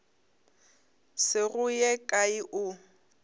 se go ye kae o